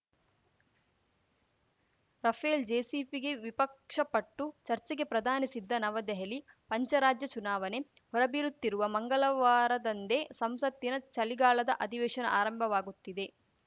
Rafale ಜೆಪಿಸಿಗೆ ವಿಪಕ್ಷ ಪಟ್ಟು ಚರ್ಚೆಗೆ ಪ್ರಧಾನಿ ಸಿದ್ಧ ನವದೆಹಲಿ ಪಂಚರಾಜ್ಯ ಚುನಾವನೆ ಹೊರಬೀಲುತ್ತಿರುವ ಮಂಗಲವಾರದಂದೇ ಸಂಸತ್ತಿನ ಚಲಿಗಾಲದ ಅಧಿವೇಶನ ಆರಂಭವಾಗುತ್ತಿದೆ